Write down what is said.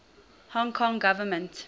hong kong government